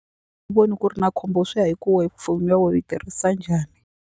ku ri na khombo swi ya hi ku we foni ya we u yi tirhisa njhani.